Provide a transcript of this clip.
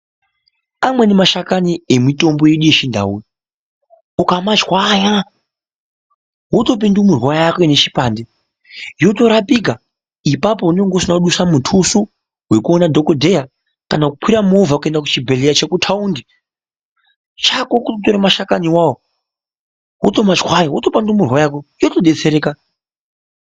Amweni mashakani nemitombo yedu yechindau ukamashwsnya wotopa ndumurwa yako inechipande ipapo unenge usina kudusa mutusu wokuona dhokodheya kana kukwira movha kuenda kuchibhehleya chekutaundi chako totora mashakani awawo wotomadhwanya wotopa ndumurwa yako yotodetsereka.